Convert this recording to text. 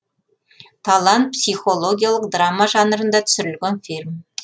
талан психологиялық драма жанрында түсірілген фильм